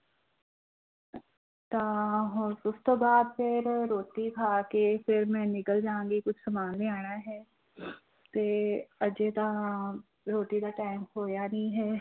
ਤਾਂ ਹੁਣ ਉਸ ਤੋਂ ਬਾਅਦ ਫਿਰ ਰੋਟੀ ਖਾ ਕੇ ਫਿਰ ਮੈਂ ਨਿਕਲ ਜਾਵਾਂਗੀ ਕੁਛ ਸਮਾਨ ਲਿਆਉਣਾ ਹੈ ਤੇ ਅਜੇ ਤਾਂ ਰੋਟੀ ਦਾ time ਹੋਇਆ ਨੀ ਹੈ।